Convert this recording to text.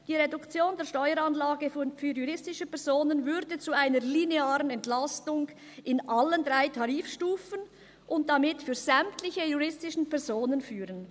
«Die Reduktion der Steueranlage für juristische Personen würde zu einer linearen Entlastung bei allen drei Tarifstufen und damit für sämtliche juristischen Personen führen.